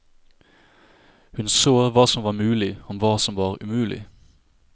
Hun så hva som var mulig og hva som var umulig.